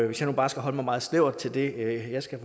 hvis jeg nu bare skal holde mig meget snævert til det jeg skal